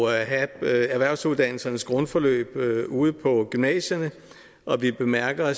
at have erhvervsuddannelsernes grundforløb ude på gymnasierne og vi bemærker at